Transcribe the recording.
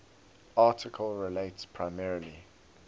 article relates primarily